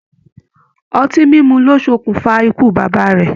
Ọtí mímu ló sokun fà ikú bàbá rẹ̀.